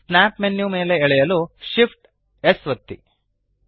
snap menu ಮೇಲೆ ಎಳೆಯಲು Shift amp S ಒತ್ತಿ